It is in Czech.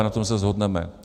A na tom se shodneme.